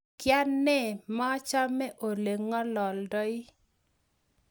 Kainee mechame olengalaldoi?